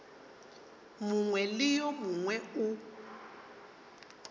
mongwe le yo mongwe o